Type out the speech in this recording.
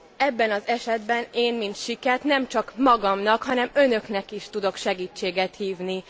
Ebben az esetben, én, mint siket, nem csak magamnak, hanem Önöknek is tudok segítséget hívni.